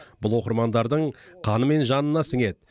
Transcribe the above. бұл оқырмандардың қаны мен жанына сіңеді